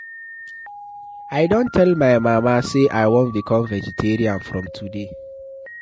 I don tell my mama say I wan become vegetarian from today.